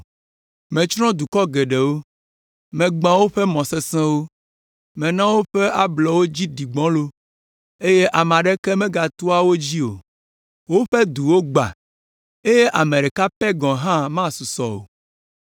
“Metsrɔ̃ dukɔ geɖewo, megbã woƒe mɔ sesẽwo, mena woƒe ablɔwo dzi ɖi gbɔlo, eye ame aɖeke megatoa wo dzi o. Woƒe duwo gbã, eye ame ɖeka pɛ gɔ̃ hã masusɔ o.